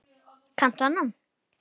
Kanntu annan?